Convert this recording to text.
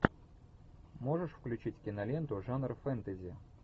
можешь включить киноленту жанр фэнтези